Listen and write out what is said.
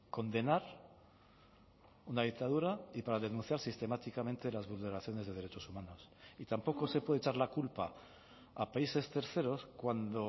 condenar una dictadura y para denunciar sistemáticamente las vulneraciones de derechos humanos y tampoco se puede echar la culpa a países terceros cuando